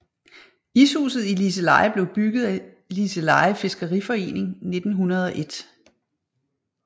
Ishuset i Liseleje blev bygget af Liseleje fiskeriforening 1901